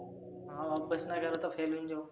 हाव अभ्यास नाही करीन तर fail होईल तर.